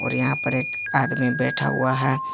और यहां पर एक आदमी बैठा हुआ है।